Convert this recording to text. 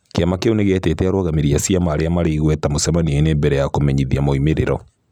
Kĩama kĩu nĩgĩetite arũgamĩri a ciama arĩa maarĩ igweta mũcemanio-inĩ mbere ya kũmenyithia moimĩrĩro.